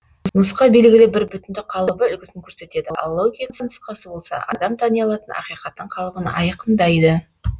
нұсқа белгілі бір бүтіндік қалыбы үлгісін көрсетеді ал логика нұсқасы болса адам тани алатын ақиқаттың қалыбын айқындайды